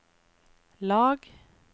lag